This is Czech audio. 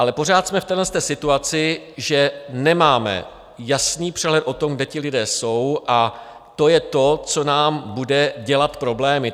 Ale pořád jsme v téhle situaci, že nemáme jasný přehled o tom, kde ti lidé jsou, a to je to, co nám bude dělat problémy.